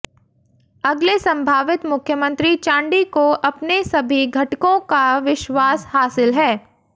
अगले संभावित मुख्यमंत्री चांडी को अपने सभी घटकों का विश्वास हासिल है